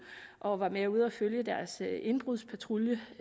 og var med ude at følge deres indbrudspatrulje